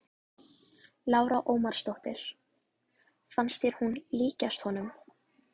Lára Ómarsdóttir: Fannst þér hún líkjast honum?